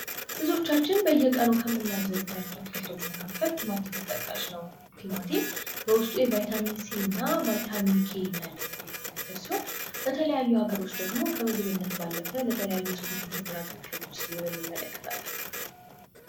ብዙዎቻችን በየቀኑ ከምናዘወትራቸው አትክልቶች መካከል ቲማቲም ተጠቃሽ ነው። ቲማቲም በውስጡ የቫይታሚን ሲ እና ቫይታሚን ኬ እንዳለበት የሚናገር ሲሆን በተለያዩ ሀገሮች ደግሞ ከምግብነት ባለፈ ለተለያዩ ስፖርታዊ ውድድሮች ሲያገለግል እንመለከታለን።